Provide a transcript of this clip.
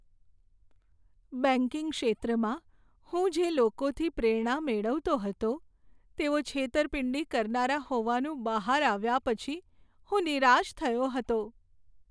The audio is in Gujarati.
બેંકિંગ ક્ષેત્રમાં હું જે લોકોથી પ્રેરણા મેળવતો હતો તેઓ છેતરપિંડી કરનારા હોવાનું બહાર આવ્યા પછી હું નિરાશ થયો હતો.